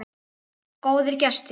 Góðir gestir.